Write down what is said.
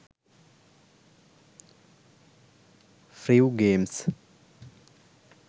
friv games